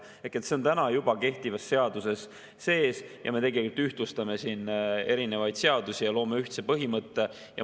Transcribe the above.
Ehk see on juba kehtivas seaduses sees ja me tegelikult ühtlustame siin erinevaid seadusi ja loome ühtse põhimõtte.